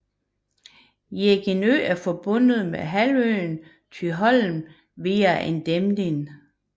Jegindø er forbundet med halvøen Thyholm via en dæmning